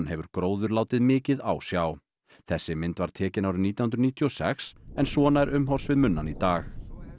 hefur gróður látið mikið á sjá þessi mynd var tekin árið nítján hundruð níutíu og sex en svona er umhorfs við munnann í dag